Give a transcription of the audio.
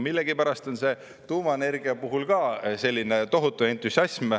Millegipärast on see tuumaenergia puhul ka selline tohutu entusiasm.